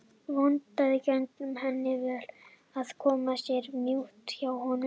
Vonandi gengur henni vel að koma sér í mjúkinn hjá honum.